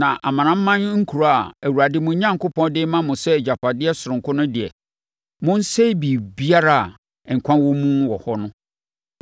Na amanaman nkuro a Awurade, mo Onyankopɔn, de rema mo sɛ agyapadeɛ sononko no deɛ, monsɛe biribiara a nkwa wɔ mu wɔ hɔ no.